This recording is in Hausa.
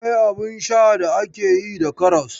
Akwai abin sha da ake yi da karas.